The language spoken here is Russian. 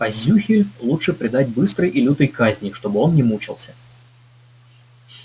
а зюхель лучше предать быстрой и лютой казни чтобы он не мучался